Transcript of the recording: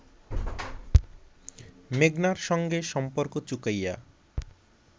মেঘনার সঙ্গে সম্পর্ক চুকাইয়া